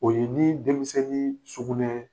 O ye nii denmisɛnnii sugunɛɛ